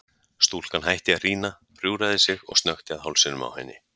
Stúlkan hætti að hrína, hjúfraði sig og snökti að hálsinum á henni.